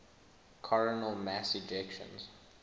coronal mass ejections